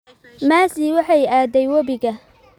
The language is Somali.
Masi waxeey aaday wabiga